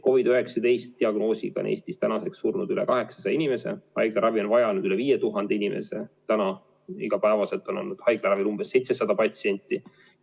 COVID-19 diagnoosiga on Eesti tänaseks surnud üle 800 inimese, haiglaravi on vajanud üle 5000 inimese, iga päev on praegu haiglaravil olnud umbes 700 patsienti.